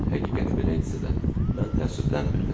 Əgər həqiqət belə idisə də, mən təəssüflənmirdim.